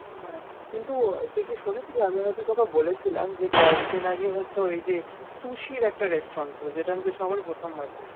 হ্যাঁ, কিন্তু তুই কি শুনেছিলি আমি হয়ত তোকে বলেছিলাম, যে কয়েকদিন আগে হচ্ছে ওই যে susie একটা restaurant খুলেছে যেটা নাকি সবারই প্রথম লাগছে।